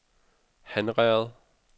Hanherred